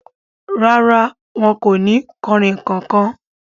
Rárá, wọn kò ni kanrínnkan kan.